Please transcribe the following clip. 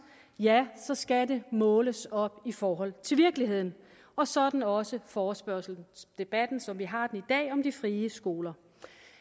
ja så skal det måles op i forhold til virkeligheden og sådan også forespørgselsdebatten som vi har i dag om de frie skoler